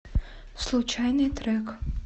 случайный трек